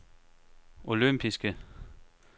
olympiske